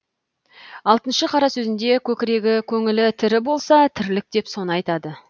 алтыншы қара сөзінде көкірегі көңілі тірі болса тірлік деп соны айтады